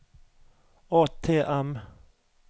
ATM